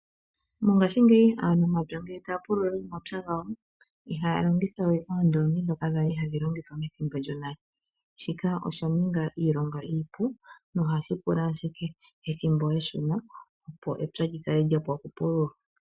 Mongaashingeyi aantu omapya ngele taya pulula omapya gawo, ihaya longitha we oondoongi ndhoka dhali hadhi longithwa methimbo lyonale. Shika osha ninga iilonga iipu nohashi pula ashike ethimbo eshona opo epya lyi kale lya pwa okupulula.